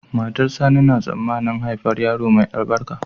Matar sani na tsamanin haifar yaro mai albarka